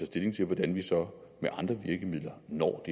stilling til hvordan vi så med andre virkemidler når